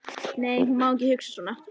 Nei, hún má ekki hugsa svona.